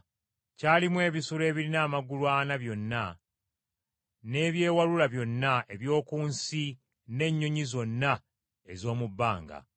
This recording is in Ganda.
Kyalimu ebisolo ebirina amagulu ana byonna, n’ebyewalula byonna eby’oku nsi n’ennyonyi zonna ez’omu bbanga.